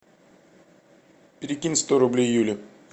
перекинь сто рублей юле